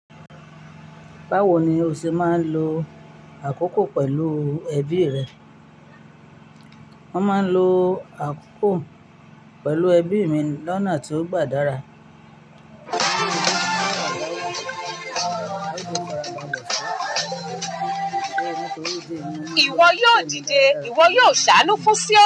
Báwo ni o ṣe ma lo àkókò pẹ̀lú ẹbí rẹ? Wọ́n ma lo àkókò pẹ̀lú ẹbí mi lọ́nà tí ó gbádára. Ìwọ yóò dìde, ìwọ yóò ṣàánú fún siọni.